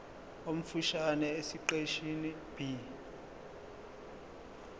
omfushane esiqeshini b